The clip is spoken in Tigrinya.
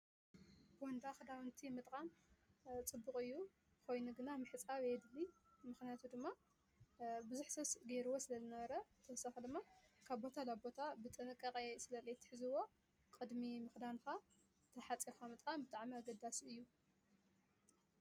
ቦንዳ ክዳውንቲ ምጥቃም ፅቡቅ እዩ። ኮይኑ ግና ምሕፃብ የድሊ ምክንያቱ ድማ ብዙሕ ሰብ ገይርዎ ስለ ዝነበረ ብተወሳኪ ድማ ካብ ቦታ ናብ ቦታ ብጥንቃቀ ስለ ዘይሕዝዎ ቅድሚ ምክዳንካ እንዳሓፀብካ ምጥቃም ብጣዕሚ ኣገዳሲ እዩ።